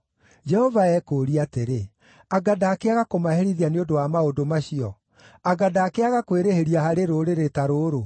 Jehova ekũũria atĩrĩ, “Anga ndakĩaga kũmaherithia nĩ ũndũ wa maũndũ macio? Anga ndakĩaga kwĩrĩhĩria harĩ rũrĩrĩ ta rũrũ?”